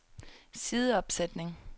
sideopsætning